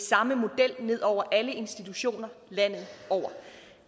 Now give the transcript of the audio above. samme model ned over alle institutioner landet over